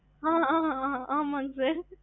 ஆமா sir